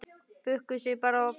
Bukkuðu sig bara og beygðu!